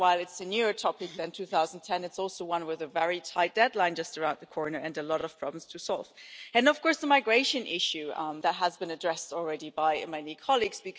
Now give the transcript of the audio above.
While this is a newer topic than 2010, it is also one with a very tight deadline just around the corner and a lot of problems to solve. Then, of course, there is the migration issue that has already been addressed by many colleagues.